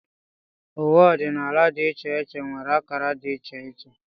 Uwe ọdịnala dị iche iche nwere akara dị iche iche